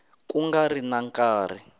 ku nga ri na nkarhi